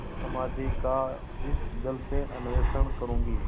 समाधि का इस जल से अन्वेषण करूँगी